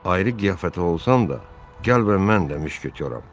Ayrı qiyafətdə olsam da, gəl və mən də müşketoram.